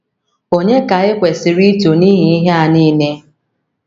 Ònye ka e kwesịrị ito n’ihi ihe a nile?